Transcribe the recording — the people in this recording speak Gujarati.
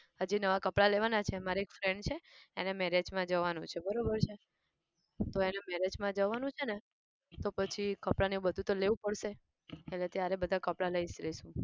હજી નવા કપડા લેવાના છે. મારે એક friend છે એના marriage માં જવાનું છે બરોબર છે. તો એના marriage માં જવાનું છે ને તો પછી કપડાને એવું બધું તો લેવું જ પડશે તો ત્યારે બધા કપડાં લઈશ લઈશ